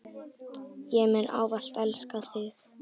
Ég mun ávallt elska þig.